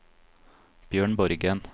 Bjørn Borgen